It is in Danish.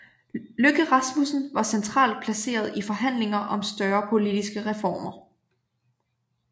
Løkke Rasmussen var centralt placeret i forhandlinger om større politiske reformer